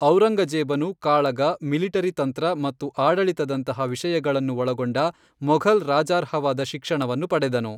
ಔರಂಗಜೇಬನು ಕಾಳಗ, ಮಿಲಿಟರಿ ತಂತ್ರ ಮತ್ತು ಆಡಳಿತದಂತಹ ವಿಷಯಗಳನ್ನು ಒಳಗೊಂಡ ಮೊಘಲ್ ರಾಜಾರ್ಹವಾದ ಶಿಕ್ಷಣವನ್ನು ಪಡೆದನು.